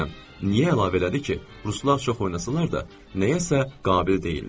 Bilmədim niyə əlavə elədi ki, ruslar çox oynasalar da nəyəsə qabil deyillər.